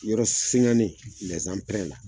Yɔrɔ singannen